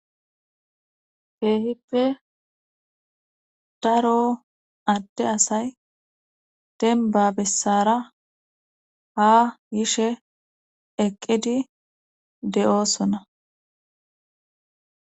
keehippe daro adde asay demba bessara ha yishe eqqidi de'oosona